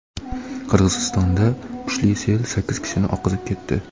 Qirg‘izistonda kuchli sel sakkiz kishini oqizib ketdi.